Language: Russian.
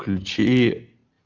ключи